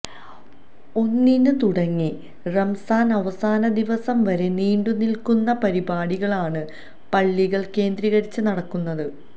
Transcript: ഒന്നിന്ന് തുടങ്ങി റമസാന് അവസാന ദിവസം വരെ നീണ്ടുനില്ക്കുന്ന പരിപാടികളാണ് പള്ളികള് കേന്ദ്രീകരിച്ച് നടക്കുന്നത്